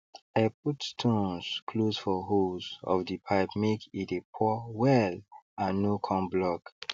i put stones close for holes of the pipemake e dey pour well and no con block